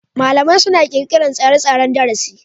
malamai suna ƙirƙirar tsare-tsaren darasi.